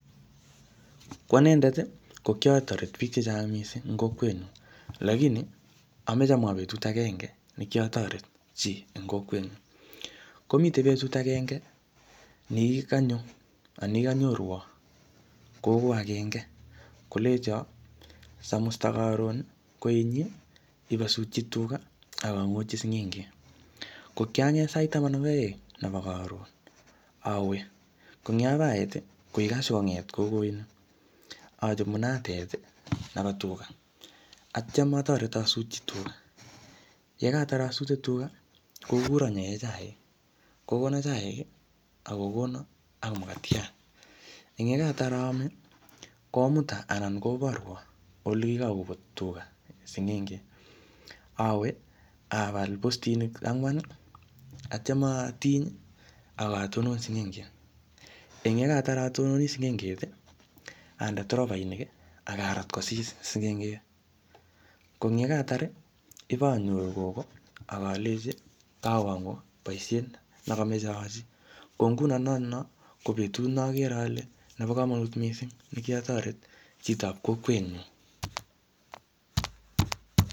Ko anendet, ko kiatoret biik chechang missing eng kokwet nyu. Lakini, ameche amwa betut agenge ne kiatoret chi eng kokwet nyu. Komite betut agenge, ne kikanyo, anan kikanyorwo gogo agenge . Kolenjo samusta karon koinyi, ibasutchi tuga, akangotchi sing'enget. Ko kianget sait taman ak aeng, nebo karon. Awee. Ko eng yapait, ko kiashikonget gogo inii. Achop munatet nebo tuga. Atyam atoret asutchi tuga. Yekatar asute tuga, kokuro nyae chaik. Kokona chaik ak kokona ak mukatiat. Eng yekatar aame, komuta anan koborwo ole kikakobut tuga ak sing'enget. Awe, abal postinik angwa, atyam atiny, akatonon singenget. Eng yekatar atononi sigenget, ande tropainik, akarat kosis sing'enget. Ko eng yekatar, ibonyoru gogo, akalenji, kawongu boisiet ne kameche aachi. Ko nguno notono, ko betut ne agere ale nebo komonut missing ne kiatoret chitop kokwet nyu